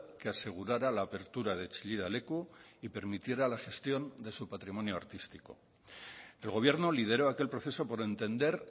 que asegurara la apertura de chillida leku y permitiera la gestión de su patrimonio artístico el gobierno lideró aquel proceso por entender